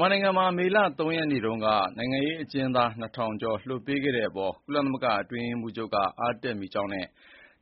မြန်မာနိုင်ငံမှာ မေလ ၃ ရက်နေ့က နိုင်ငံရေးကျဉ်းသား ၂,၀၀၀ ကျော်လွှတ်ပေးခဲ့တဲ့အပေါ် ကုလသမဂ္ဂအတွင်းရေးမှူးချုပ်က အားတက်မိကြောင်းနဲ့